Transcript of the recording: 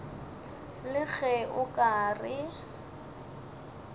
le ge o ka re